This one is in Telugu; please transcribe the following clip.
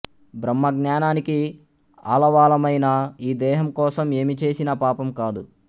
బ్రహ్మజ్ఞానానికి ఆలవాలమైన ఈ దేహం కోసం ఏమి చేసినా పాపం కాదు